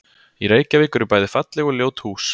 Í Reykjavík eru bæði falleg og ljót hús.